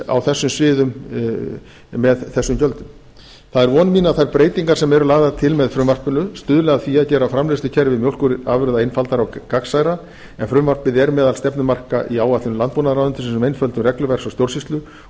á þessum sviðum með þessum gjöldum það er von mín að þær breytingar sem eru lagðar til með frumvarpinu stuðli að því að gera framleiðslukerfi mjólkurafurða einfaldara og gagnsærra en frumvarpið er meðal stefnumarka í áætlun landbúnaðarráðuneytisins um einföldun regluverks og stjórnsýslu